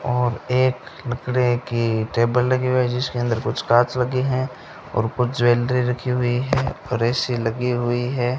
और एक लकड़ी की टेबल लगी हुई है जिसके अंदर कुछ कांच लगे हैं और कुछ ज्वेलरी रखी हुई है और ए_सी लगी हुई है।